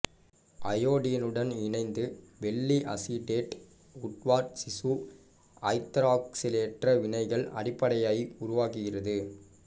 அயோடினுடன் இணைந்து வெள்ளி acetate Woodward சிசு ஐதராக்சிலேற்ற வினைக்கான அடிப்படையை உருவாக்குகிறது